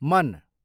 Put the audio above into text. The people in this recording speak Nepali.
मन